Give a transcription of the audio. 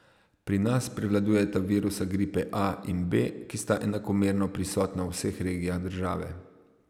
Pri nas prevladujeta virusa gripe A in B, ki sta enakomerno prisotna v vseh regijah države.